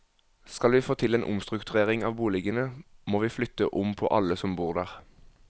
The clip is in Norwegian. Skal vi få til en omstrukturering av boligene, må vi flytte om på alle som bor der.